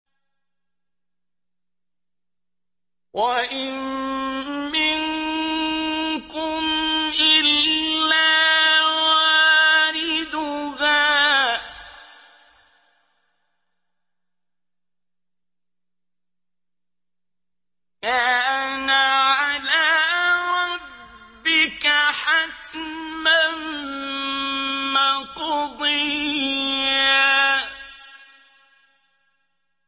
وَإِن مِّنكُمْ إِلَّا وَارِدُهَا ۚ كَانَ عَلَىٰ رَبِّكَ حَتْمًا مَّقْضِيًّا